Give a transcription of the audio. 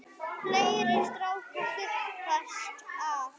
Fleiri strákar þyrpast að.